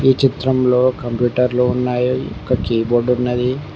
ఈ చిత్రంలో కంప్యూటర్లు ఉన్నాయి ఇక కీబోర్డు ఉన్నది.